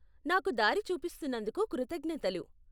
నాకు దారి చూపిస్తున్నందుకు కృతజ్ఞతలు.